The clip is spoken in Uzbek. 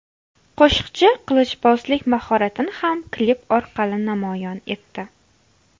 Qo‘shiqchi qilichbozlik mahoratini ham klip orqali namoyon etdi.